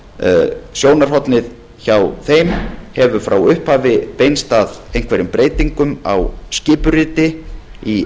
þröngt sjónarhornið hjá þeim hefur frá upphafi beinst að einhverjum breytingum á skipuriti í